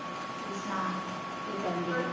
ਤੂੰ ਸੁਣਾ, ਕੀ ਕਰਨ ਦਈ ਏ